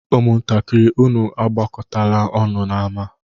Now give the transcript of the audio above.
Ụmụntakịrị, unu agbakọtala ọnụ n'ámá!